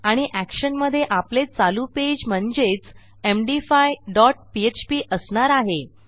आणि एक्शन मधे आपले चालू पेज म्हणजेच एमडी5 डॉट पीएचपी असणार आहे